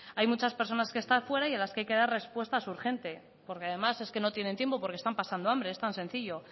hay muchas personas que están fuera y a las que hay que dar respuestas urgentes porque además es que no tienen tiempo porque están pasando hambre es tan sencillo